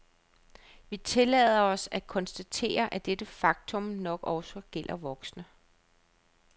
Vi tillader os at konstatere, at dette faktum nok også gælder voksne.